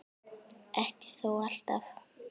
Ekki þó alltaf.